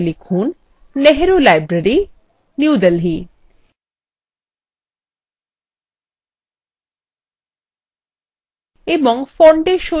এখানে label হিসাবে লিখুন nehru library new delhi